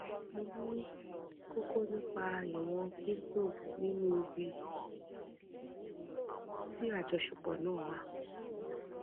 mo ní kókó nípa ìwọn pinto nínú ibi tí àjọṣepọ náà wà